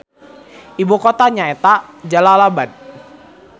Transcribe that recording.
Ibu kotana nyaeta Jalalabad.